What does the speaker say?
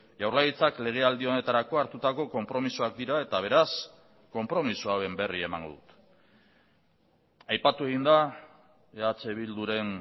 jaurlaritzak legealdi honetarako hartutako konpromisoak dira eta beraz konpromiso hauen berri emango dut aipatu egin da eh bilduren